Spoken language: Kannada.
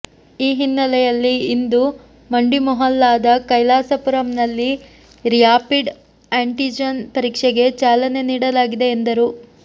ಈ ಹಿನ್ನೆಲೆಯಲ್ಲಿ ಇಂದು ಮಂಡಿಮೊಹಲ್ಲಾದ ಕೈಲಾಸಪುರಂನಲ್ಲಿ ರ್ಯಾಪಿಡ್ ಆ್ಯಂಟಿಜನ್ ಪರೀಕ್ಷೆಗೆ ಚಾಲನೆ ನೀಡಲಾಗಿದೆ ಎಂದರು